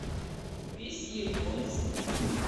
весьегонск